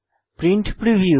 print preview